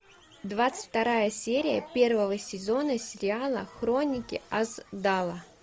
двадцать вторая серия первого сезона сериала хроники асдала